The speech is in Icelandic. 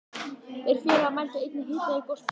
Þeir félagar mældu einnig hita í gospípu